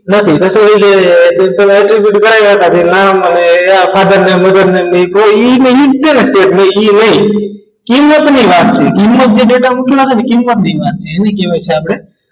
નથી તો શું છે simple દુકાને ગયા હતા રામ અને father ને mother નેમની કોઈ એ કિંમતની વાત છે કિંમતને એને કહેવાય છે આપણે